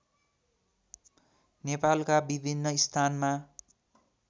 नेपालका विभिन्न स्थानमा